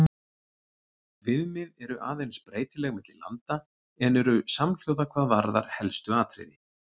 Viðmið eru aðeins breytileg milli landa en eru samhljóða hvað varðar helstu atriði.